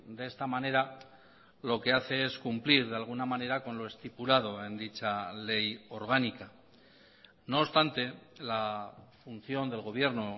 de esta manera lo que hace es cumplir de alguna manera con lo estipulado en dicha ley orgánica no obstante la función del gobierno